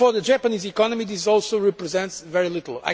For the Japanese economy it also represents very little.